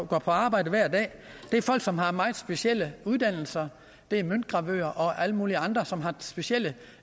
går på arbejde hver dag det er folk som har meget specielle uddannelser det er møntgravører og alle mulige andre som har specielle